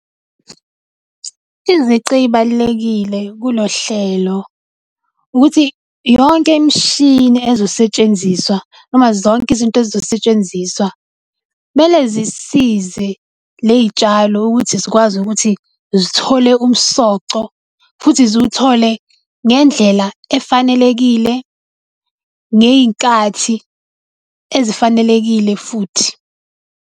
Izici ey'balulekile kulolu hlelo ukuthi yonke imishini ezosetshenziswa noma zonke izinto ezizosetshenziswa, kumele zisize ley'tshalo ukuthi zikwazi ukuthi zithole umsoco futhi ziwuthole ngendlela efanelekile, ngey'nkathi ezifanelekile futhi.